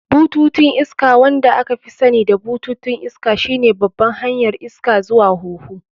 Bututun iska, wanda aka fi sani da bututun iska, shine babban hanyar iska zuwa huhu.